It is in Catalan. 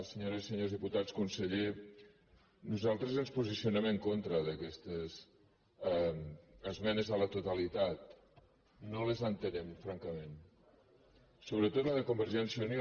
senyores i senyors diputats conseller nosaltres ens posicionem en contra d’aquestes esmenes a la totalitat no les ente·nem francament sobretot la de convergència i unió